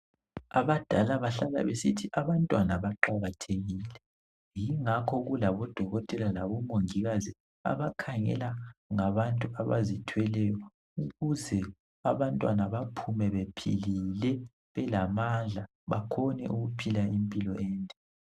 Abadala bahlala besithi abantwana baqakathekile yingakho kulabo dokotela labo mongikazi abakhangela ngabantu abazithweleyo ukuze abantwana baphume bephilile belamandla bakhone ukuphila impilo ende.